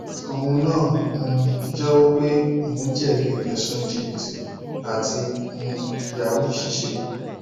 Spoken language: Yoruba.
òun náà um jẹwọ pé òun jẹbi ẹsùn jìbìtì àti um yahoo ṣiṣẹ